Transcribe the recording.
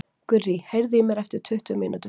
Gurrý, heyrðu í mér eftir tuttugu mínútur.